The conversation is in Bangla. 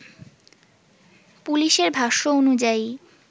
পুলিশের ভাষ্য অনুযায়ী